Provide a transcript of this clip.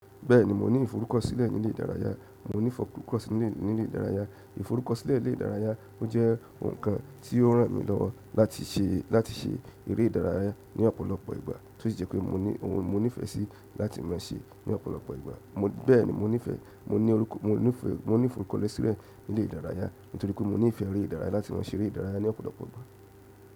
Bẹ́ẹ̀ni mo ní ìforúkọ̀sílẹ̀ ní ilé ìdárayá, mo ní ìforúkọ̀sílẹ̀ ní ilé ìdárayá. Ìforúkọ̀sílẹ̀ ilé ìdárayá ó jẹ́ ohun kan tí ó ràn mí lọ́ láti se láti se eré ìdárayá ní ọ̀pọ̀lọpọ̀ ìgbà to sí je pé mo ní oun ni mo ní ìfẹ́ sí láti maa se ní ọ̀pọ̀lọpọ̀ ìgbà. Bẹ́ẹ̀ni mo ní ìfẹ́, mo ní ìforúkọ̀sílẹ̀ ní ilé ìdárayá nítorí pé mo ní ìfẹ́ eré ìdárayá láti mọ̀ se eré ìdárayá ní ọ̀pọ̀lọpọ̀ ìgbà.